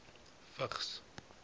vigs